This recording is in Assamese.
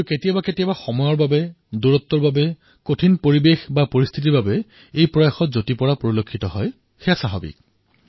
কিন্তু কেতিয়াবা কেতিয়াবা সময়ৰ কাৰণত কেতিয়াবা দূৰত্বৰ কাৰণত কেতিয়াবা পৰিস্থিতিৰ কাৰণত তাৰ ওপৰত কেতিয়াবা পাতলীয়া চামনি পৰে